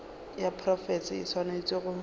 ya profense e swanetše go